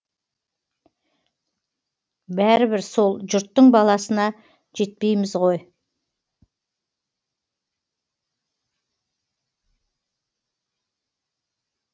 бәрібір сол жұрттың баласына жетпейміз ғой